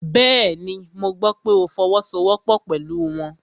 Bẹ́ẹ̀ni, mo gbọ́ pé ó fọwọ́sowọ́pọ́ pẹ̀lú wọn